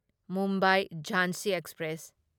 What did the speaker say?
Mumbai Jhansi express